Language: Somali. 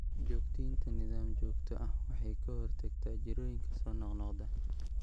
Joogteynta nidaam joogto ah waxay ka hortagtaa jirrooyinka soo noqnoqda.